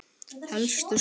Helstu skor